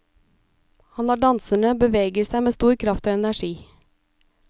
Han lar danserne bevege seg med stor kraft og energi.